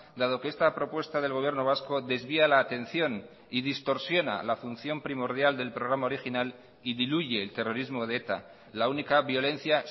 dado que esta propuesta del gobierno vasco desvía la atención y distorsiona la función primordial del programa original y diluye el terrorismo de eta la única violencia